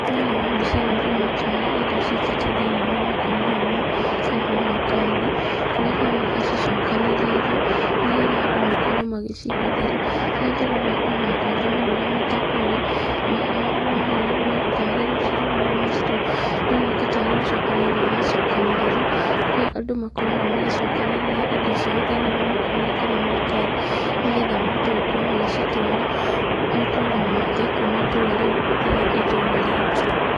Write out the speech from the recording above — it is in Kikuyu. Thĩiniĩ wa mbica ĩno ndĩrona tarĩ indo cikĩitio thĩiniĩ wa makũnia maya kana maratathi, kũrĩa ironeka ci cokanĩrĩirio, nĩgetha andũ makorwo magĩcihũthĩra, harĩa ndĩrona ona andũ angĩ marũgamĩte kũrĩa, marahana tarĩ gũcirora maracirora, ironeka tarĩ gũcokanĩrĩrio cira cokanĩrĩrio, kũrĩa andũ makoragwo magicokanĩrĩria indo ciao thĩiniĩ wa makũnia kana maratathi, nĩgetha mahote gũkorwo magĩcitwara matũra mangĩ kuma itũra rĩu nginya itũra rĩngĩ.